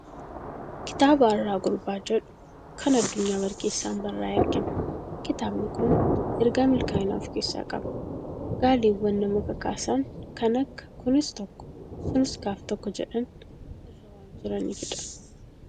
Kitaaba "Arraa Gurbaa" jedhu kan Addunyaa Barkeessaan barraa'e argina. Kitaabni kun ergaa milkaa'inaa of keessaa qaba. Gaaleewwan nama kakaasan kan akka "kunis tokko, sunis gaaftokko" jedhan irra waan jiraniifi dha.